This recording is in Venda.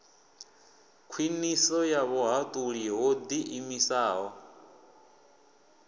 khwiniso ya vhuhaṱuli ho ḓiimisaho